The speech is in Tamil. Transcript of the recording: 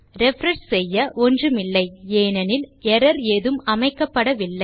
ரிஃப்ரெஷ் செய்ய ஒன்றுமில்லை ஏனெனில் எர்ரர் ஏதும் அமைக்கப்படவில்லை